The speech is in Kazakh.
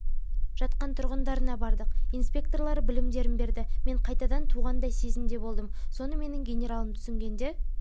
жатқан тұрғындарына бардық инспекторлары білімдерін берді мен қайтадан туғандай сезімде болдым соны менің генералым түсінгенде